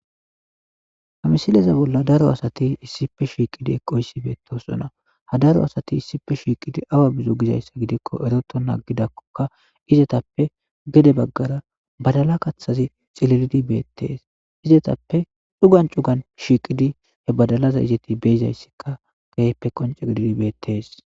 Hamisileza bolla daro asati issife shiiqidi eqoysi beettosona ha daro asati issife shiiqidi awa bizo gizayssa gidikko eroto naaggidakkoka izetappe gede baggara badala kathazi xililidi beettees izetappe xugan cugan shiiqidi he badalaza izeti beizayssikka geyppe qonce gididi beettees.